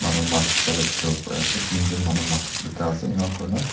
manu mass bikala dikhiwo pariase teenjon manu mass bikaase enakurina.